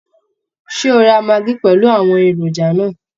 Ṣé o ra maggi pẹ̀lú àwọn èròjà náà?